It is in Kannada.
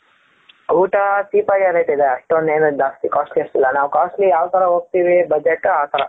ಊಟ cheap ಅಗೆ ಆಗೋಯ್ತದೆ ಅಷ್ಟೇನೂ ಜಾಸ್ತಿ costly ಅನ್ನಿಸಲಿಲ್ಲ ನಾವು costly ಯಾತರ ಹೋಗ್ತೀವಿ ಬಜೆಟ್ ಆತರ.